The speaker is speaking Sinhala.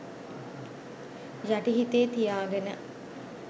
යටි හිතේ තියාගෙන.